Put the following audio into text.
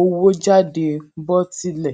owó jáde bó tilẹ